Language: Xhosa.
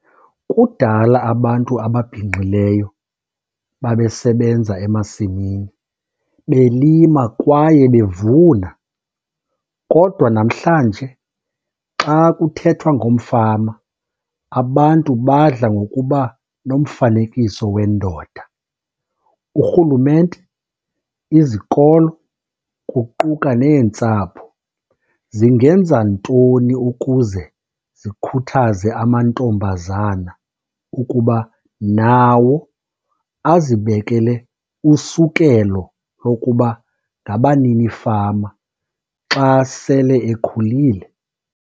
Kudala abantu ababhinqileyo babesebenza emasimini, belima kwaye bevuna. Kodwa namhlanje xa kuthethwa ngomfama, abantu badla ngokuba nomfanekiso wendoda. Urhulumente, izikolo kuquka neentsapho, zingenza ntoni ukuze zikhuthaze amantombazana ukuba nawo azibekele usukelo lokuba ngabaninifama xa sele ekhulile?